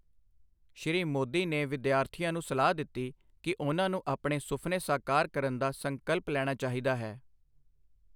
ਸ਼੍ਰੀ ਮੋਦੀ ਨੇ ਵਿਦਿਆਰਥੀਆਂ ਨੂੰ ਸਲਾਹ ਦਿੱਤੀ ਕਿ ਉਨ੍ਹਾਂ ਨੂੰ ਆਪਣੇ ਸੁਫ਼ਨੇ ਸਾਕਾਰ ਕਰਨ ਦਾ ਸੰਕਲਪ ਲੈਣਾ ਚਾਹੀਦਾ ਹੈ।